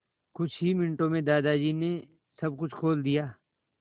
कुछ ही मिनटों में दादाजी ने सब कुछ खोल दिया